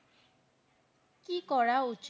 কি করা উচিত?